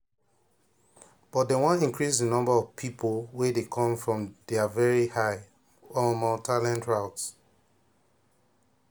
but dem wan increase di number of pipo wey dey come from dia very high um talent routes.